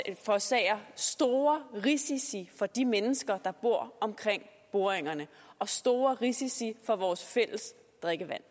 forårsager store risici for de mennesker der bor omkring boringerne og store risici for vores fælles drikkevand